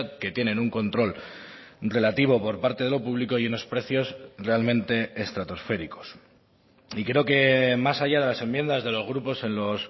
que tienen un control relativo por parte de lo público y unos precios realmente estratosféricos y creo que más allá de las enmiendas de los grupos en los